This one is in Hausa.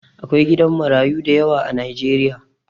Akwai gidan marayu dayawa a Najeriya